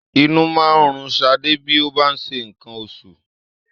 Inú máa ń run Ṣadé bí ó bá ń ṣe nǹkan oṣù.